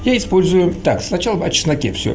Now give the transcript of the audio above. я использую так сначала о чесноке все